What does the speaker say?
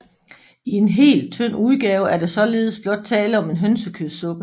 I en hel tynd udgave er der således blot tale om en hønsekødssuppe